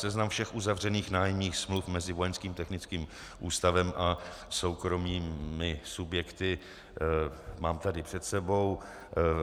Seznam všech uzavřených nájemních smluv mezi Vojenských technickým ústavem a soukromými subjekty mám tady před sebou.